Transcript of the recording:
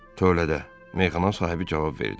Tövlədə, meyxana sahibi cavab verdi.